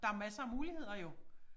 Der masser af muligheder jo